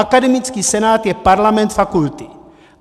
Akademický senát je parlament fakulty.